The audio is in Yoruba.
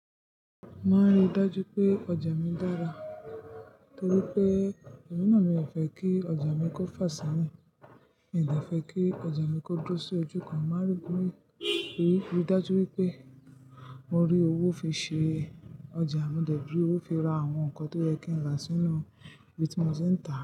Má ríi dájú pé ọjà mi dára torí pé ẹmína mi ò fẹ́ kí ọjà mi kó fà sí mi. Mi ò de fẹ́ kí ọjà mi kó dúró sí ojú kan. Má ríi dájú wípé mo rí owó fi ṣe ọjà, mo dẹ̀ duró fi ra àwọn nǹkan tí ó yẹ kí ń rà sínú bítí moti n tá.